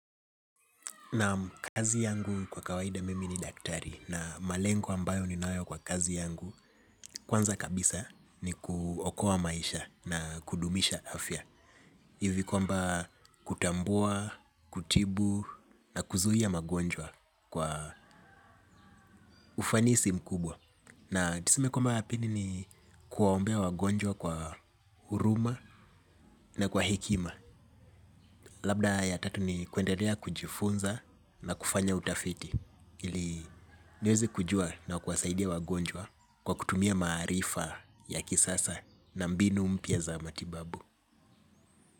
Naam kazi yangu kwa kawaida mimi ni daktari na malengo ambayo ninayo kwa kazi yangu. Kwanza kabisa ni kuokoa maisha na kudumisha afya ivi kwamba kutambua, kutibu na kuzuhia magonjwa kwa ufanisi mkubwa. Na tuseme kwamba ya pili ni kuwaombea wagonjwa kwa huruma na kwa hikima. Labda ya tatu ni kuenderea kujifunza na kufanya utafiti ili niwezi kujua na kuwa saidia wagonjwa kwa kutumia marifa ya kisasa na mbinu mpia za matibabu.